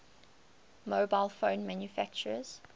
mobile phone manufacturers